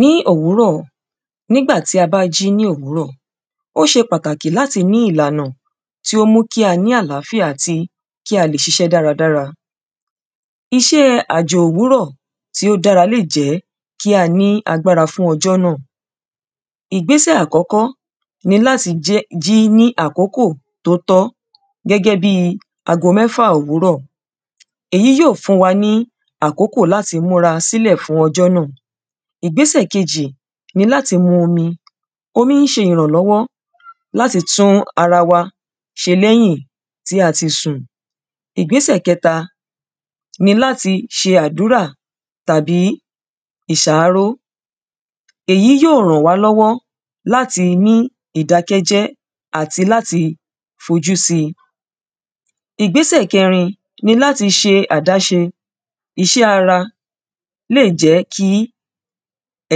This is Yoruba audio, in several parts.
Ní òwúrọ̀ nígbà tá bá jí ní òwúrọ̀ ó ṣe pàtàkì láti ní ìlànà tí ó mú kí a ní àláfíà àti kí a lè ṣiṣẹ́ dáada. Iṣé àjò òwúrọ̀ tí ó dára lè jẹ́ kí a ní agbára fún ọjọ́ náà. Ìgbésẹ̀ àkọ́kọ́ ni láti jẹ́ jí ní àkókò tó tọ́ gẹ́gẹ́ bí ago mẹ́fà òwúrọ̀ èyí yóò fún wa ní àkókò láti múra sílẹ̀ fún ọjọ́ náà. Ìgbésẹ̀ kejì òun ni láti mu omi omi ń ṣe ìrànlọ́wọ́ láti tún ara wa ṣe lẹ́yìn tí a ti sùn. Ìgbésẹ̀ kẹta ni láti ṣe àdúrà tàbí ìṣááró. Èyí yó ràn wá lọ́wọ́ láti ní ìdákẹ́jẹ́ àti láti fojú sí. Ìgbésẹ̀ kẹrin ni láti ṣe àdáṣe iṣẹ́ ara lè jẹ́ kí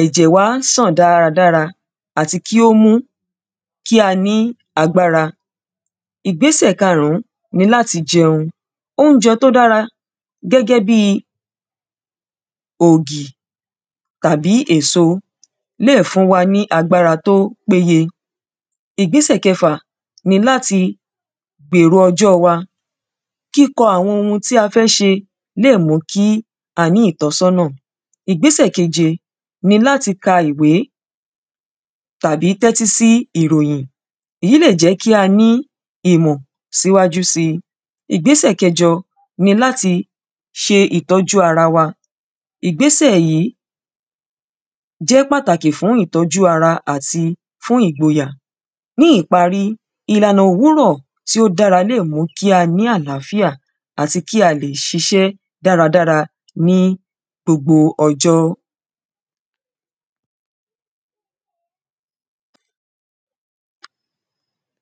ẹ̀jẹ̀ wa sàn dára dára àti kí ó mú kí a ní agbára. Ìgbésẹ̀ karún ni láti jẹun óúnjẹ tó dára gẹ́gẹ́ bí ògì tàbí èso lè fún wa ní agbára tó péye. Ìgbésẹ̀ kẹfà ni láti gbèrò ọjọ́ wa Kíkọ àwọn oun tí a fẹ́ ṣe lè mú kí a ní ìtọ́sọ́nà. Ìgbésẹ̀ keje ni láti ka ìwé tàbí tẹ́tí sí ìròyìn. Èyí lè jẹ́ kí a ní ìmọ̀ síwájú sí. Ìgbésẹ̀ kẹjọ ni láti ṣe ìtọ́jú ara wa. Ìgbésẹ̀ yìí jẹ́ pàtàkì fún ìtọ́jú ara àti fún ìgboyà. Ní ìparí ìlànà òwúrọ̀ tí ó dára lè mú kí a ní àláfíà àti kí a lè ṣiṣẹ́ dára dára ní gbogbo ọjọ́.